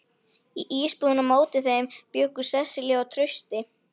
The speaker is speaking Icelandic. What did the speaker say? Í íbúðinni á móti þeim bjuggu Sesselía og Trausti.